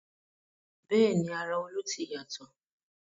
Bẹ́ẹ̀ni ara Olú ti yàtọ̀